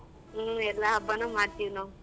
ಹ್ಮ್ ಎಲ್ಲಾ ಹಬ್ಬನು ಮಾಡ್ತಿವಿ ನಾವು.